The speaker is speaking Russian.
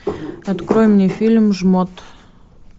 открой мне фильм жмот